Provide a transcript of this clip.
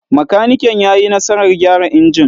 Makaniken ya yi nasarar gyara injin.